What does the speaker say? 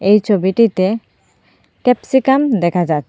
এই ছবিটিতে ক্যাপসিকাম দেখা যায়।